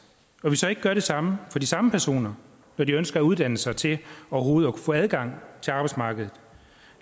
og at vi så ikke gør det samme for de samme personer når de ønsker at uddanne sig til overhovedet at få adgang til arbejdsmarkedet